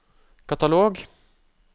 katalog